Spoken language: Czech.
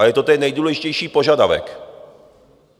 A je to ten nejdůležitější požadavek.